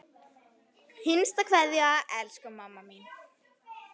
HINSTA KVEÐJA Elsku mamma mín.